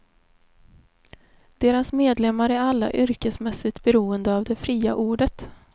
Deras medlemmar är alla yrkesmässigt beroende av det fria ordet.